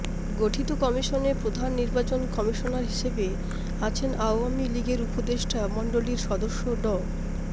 গঠিত কমিশনে প্রধান নির্বাচন কমিশনার হিসেবে আছেন আওয়ামী লীগের উপদেষ্টা মণ্ডলির সদস্য ড